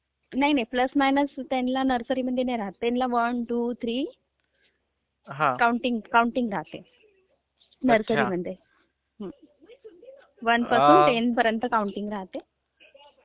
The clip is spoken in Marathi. नाही नाही..प्लस माइनस त्यांला नर्सरीमध्ये नाही राहात, त्यांला वन, टू, थ्री कौंटिंग राहते, कौंटिंग राहते. वन टू टेन कौंटिंग राहते.